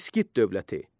İskit dövləti.